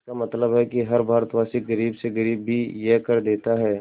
इसका मतलब है कि हर भारतवासी गरीब से गरीब भी यह कर देता है